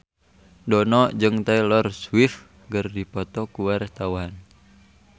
Dono jeung Taylor Swift keur dipoto ku wartawan